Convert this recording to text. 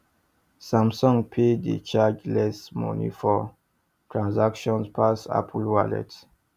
samsung pay dey charge less money for transactions pass apple wallet